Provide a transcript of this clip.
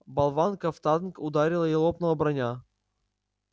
болванка в танк ударила и лопнула броня